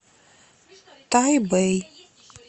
тайбэй